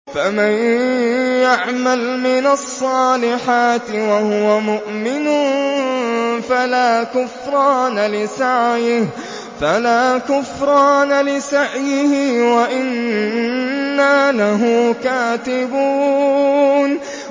فَمَن يَعْمَلْ مِنَ الصَّالِحَاتِ وَهُوَ مُؤْمِنٌ فَلَا كُفْرَانَ لِسَعْيِهِ وَإِنَّا لَهُ كَاتِبُونَ